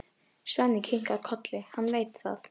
Svenni kinkar kolli, hann veit það.